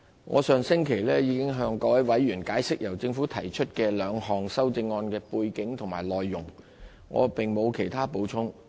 我上星期已經向各位委員解釋，由政府提出的兩項修正案的背景及內容，我並無其他補充。